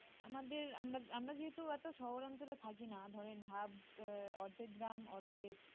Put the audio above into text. আমাদের আমরা আমরা যেহেতু এত শহর অঞ্চলে থাকি না ধরেন half অর্ধেক গ্রাম অর্ধেক